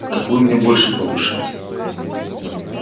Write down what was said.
так вы мне больше по душе